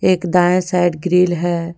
एक दाएं side grill है।